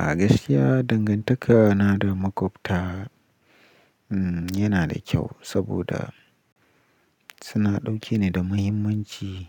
A gaskiya dangantaka na da maƙwabta yana da kyau saboda suna ɗauke ni da muhimmanci.